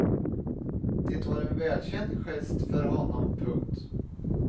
Det var en välkänd gest för honom. punkt